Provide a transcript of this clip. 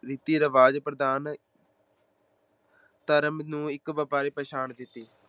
ਰੀਤੀ-ਰਿਵਾਜ਼ ਪ੍ਰਦਾਨ ਧਰਮ ਨੂੰ ਇੱਕ ਵਪਾਰੀ ਪਛਾਣ ਦਿੱਤੀ।